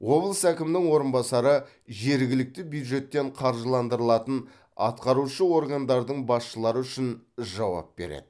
облыс әкімінің орынбасары жергілікті бюджеттен қаржыландырылатын атқарушы органдардың басшылары үшін жауап береді